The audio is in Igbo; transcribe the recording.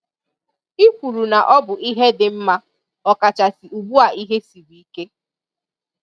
I kwuru na ọ bụ ihe dị mma ọ kachasị ugbua ihe siri ike.